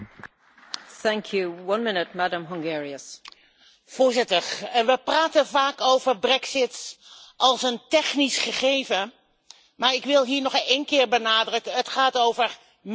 Voorzitter, we praten vaak over brexit als een technisch gegeven, maar ik wil hier nog één keer benadrukken het gaat over mensen en de gevolgen voor diezelfde mensen.